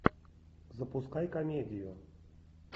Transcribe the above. запускай комедию